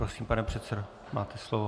Prosím, pane předsedo, máte slovo.